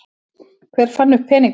Hver fann upp peningana?